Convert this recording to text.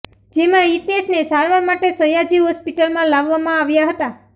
જેમાં હિતેશને સારવાર માટે સયાજી હોસ્પિટલમાં લાવવામાં આવ્યા હતા